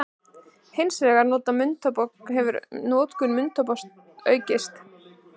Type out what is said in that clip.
Hins vegar hefur notkun munntóbaks aukist.